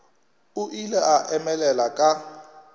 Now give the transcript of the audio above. o ile a emelela ka